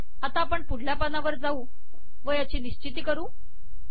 आता आपण पुढल्या पानावर जाऊ व याची निश्चिती करू